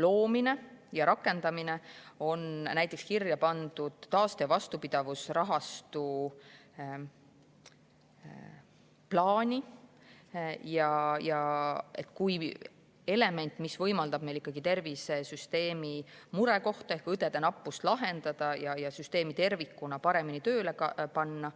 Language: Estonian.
loomine ja rakendamine on näiteks kirja pandud taaste‑ ja vastupidavusrahastu plaani kui element, mis võimaldab meil ikkagi tervisesüsteemi murekohta ehk õdede nappust ja süsteemi tervikuna paremini tööle panna.